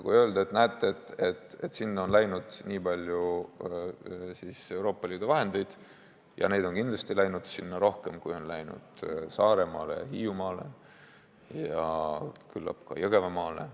Võib öelda, et näete, sinna on läinud nii palju Euroopa Liidu vahendeid, ja neid on kindlasti läinud sinna rohkem, kui on läinud Saaremaale, Hiiumaale ja küllap ka Jõgevamaale.